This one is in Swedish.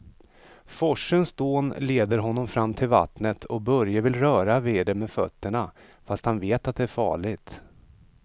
Forsens dån leder honom fram till vattnet och Börje vill röra vid det med fötterna, fast han vet att det är farligt.